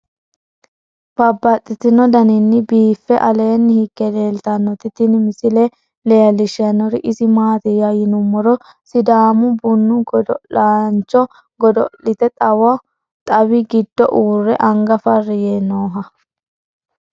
Babaxxittinno daninni biiffe aleenni hige leelittannotti tinni misile lelishshanori isi maattiya yinummoro sidaamu bunnu godo'liaancho godo'lette xawi giddo uure anga fari yee nooha.